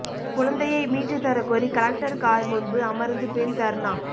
குழந்தையை மீட்டு தரக்கோரி கலெக்டர் கார் முன்பு அமர்ந்து பெண் தர்ணா